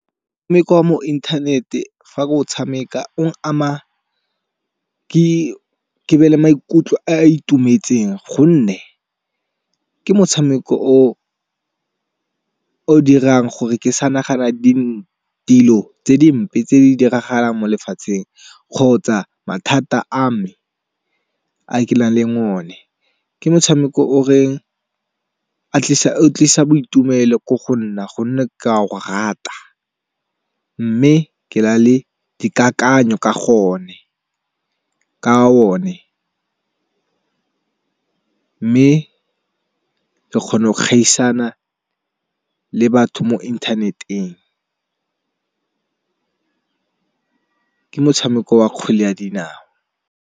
Ya mo inthanete fa o tshameka o ama ke be le maikutlo a itumetseng. Gonne ke motshameko o dirang gore ke sa nagana di dilo tse dimpe tse di diragalang mo lefatsheng kgotsa mathata a me a ke nang le o ne. Ke motshameko o tlisa boitumelo ko go nna gonne ka go rata. Mme ke na le dikakanyo ka o ne, mme ke kgona go kgaisana le batho mo inthaneteng. Ke motshameko wa kgwele ya dinao.